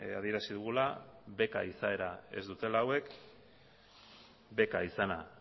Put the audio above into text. adierazi dugula beka izaera ez dutela hauek beka izena